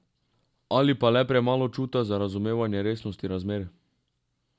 Ali pa le premalo čuta za razumevanje resnosti razmer.